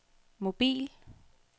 mobil